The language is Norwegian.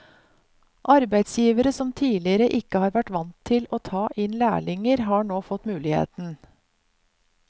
Arbeidsgivere som tidligere ikke har vært vant til å ta inn lærlinger, har nå fått muligheten.